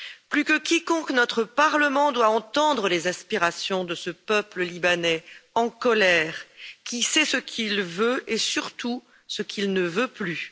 Plus que quiconque, notre Parlement doit entendre les aspirations de ce peuple libanais en colère, qui sait ce qu'il veut et surtout ce qu'il ne veut plus.